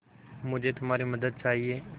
मुझे तुम्हारी मदद चाहिये